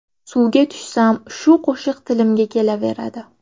Suvga tushsam, shu qo‘shiq tilimga kelaveradi.